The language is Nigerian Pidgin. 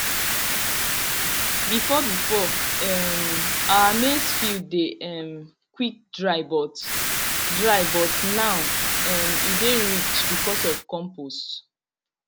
before before um our maize field dey um quick dry but dry but now um e dey rich because of compost